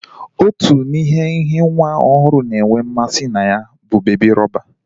Otu n'ime ihe nwa ohuru na-enwe mmasi na ya bu bebi rọba.